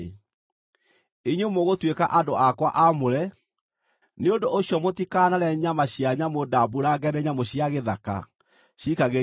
“Inyuĩ mũgũtuĩka andũ akwa aamũre. Nĩ ũndũ ũcio mũtikanarĩe nyama cia nyamũ ndamburange nĩ nyamũ cia gĩthaka; ciikagĩriei ngui.